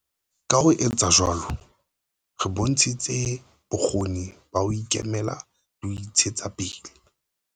Ka ho etsa jwalo, re bontshitse bokgoni ba ho ikemela le ho intshetsa pele.